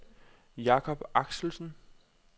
Jacob Axelsen